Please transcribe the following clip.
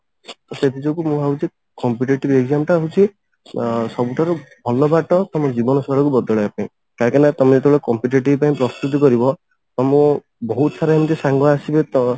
ତ ସେଥି ଯୋଗୁ ମୁଁ ଭାବୁଛି competitive exam ଟା ହଉଛି ଆ ସବୁଠାରୁ ଭଲ ବାଟ ତମ ଜୀବନ ଶୈଳୀକୁ ବଦଳେଇବା ପାଇଁ କାହିଁକି ନା ତମେ ଯେତେବେଳେ competitive ପାଇଁ ପ୍ରସ୍ତୁତି କରିବ ତମ ବହୁତ ସାରା ଏମିତି ସାଙ୍ଗ ଆସିବେ ତ